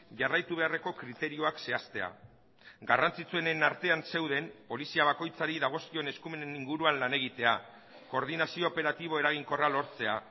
jarraitu beharreko kriterioak zehaztea garrantzitsuenen artean zeuden polizia bakoitzari dagozkion eskumenen inguruan lan egitea koordinazio operatibo eraginkorra lortzea